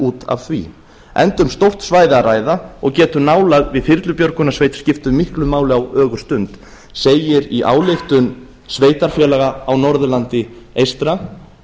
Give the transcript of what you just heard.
út af því enda um stórt svæði að ræða og getur nálægð við þyrlubjörgunarsveit skipt miklu máli á ögurstund segir í ályktun sveitarfélag á norðurlandi eystra